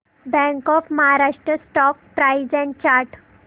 bank of Maharashtra stock price and chart